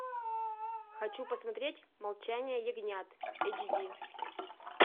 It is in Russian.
хочу посмотреть молчание ягнят эйчди